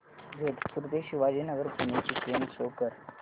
जोधपुर ते शिवाजीनगर पुणे ची train show कर